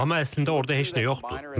Amma əslində orda heç nə yoxdur.